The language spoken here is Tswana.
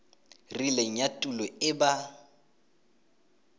rileng ya tulo e ba